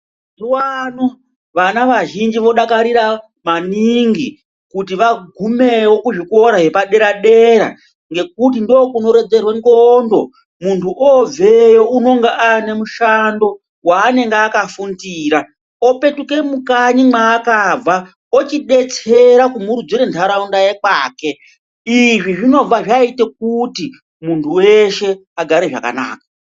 Mazuva ano vana vazhinji vodakarira maningi kuti vagumevo kuzvikora yepadera-dera. Ngekuti ndokunorodzerwe ndxondo muntu obveyo unonge ane mushando vanenge akafundira, opetuke mukanyi mwaakabva eibetsera kumurudzire ntaraunda yekwake. Izvi zvibva zvaite kuti muntu veshe agare zvakanaka.